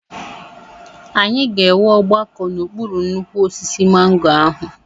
Anyị ga-enwe ọgbakọ n'okpuru nnukwu osisi mango ahụ.